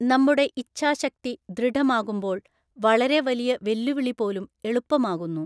നമ്മുടെ ഇഛാശക്തി ദൃഢമാകുമ്പോള്‍ വളരെ വലിയ വെല്ലുവിളിപോലും എളുപ്പമാകുന്നു.